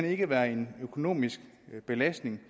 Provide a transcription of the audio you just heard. ikke være en økonomisk belastning